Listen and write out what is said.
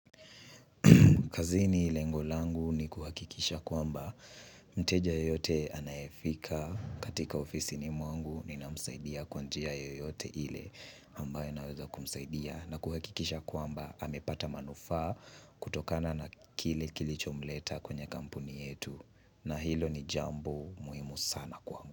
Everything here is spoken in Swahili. Kazini lengo langu ni kuhakikisha kwamba, mteja yeyote anayefika katika ofisini mwangu ninamsaidia kwa njia yoyote ile. Ambayo naweza kumsaidia na kuhakikisha kwamba amepata manufaa kutokana na kile kilichomleta kwenye kampuni yetu. Na hilo ni jambo muhimu sana kwangu.